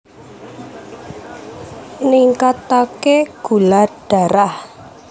Ningkataké gula darah